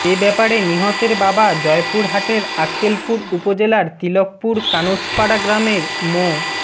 এব্যাপারে নিহতের বাবা জয়পুরহাটের আক্কেলপুর উপজেলার তিলকপুর কানুছপাড়া গ্রামের মো